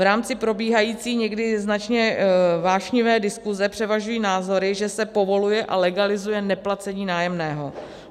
V rámci probíhající, někdy značně vášnivé diskuze převažují názory, že se povoluje a legalizuje neplacení nájemného.